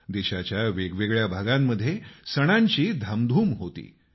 देशाच्या वेगवेगळ्या भागांमध्ये सणांची धामधूम होती